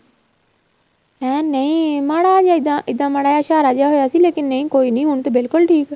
ਹੈ ਨਹੀਂ ਮਾੜਾ ਜਿਹਾ ਏਹਦਾ ਇਹਦਾ ਮਾੜਾ ਜਾ ਇਸ਼ਾਰਾ ਜਾਂ ਹੋਇਆ ਸੀ ਲੇਕਿਨ ਨਹੀਂ ਕੋਈ ਨਹੀਂ ਹੁਣ ਤੇ ਬਿਲਕੁਲ ਠੀਕ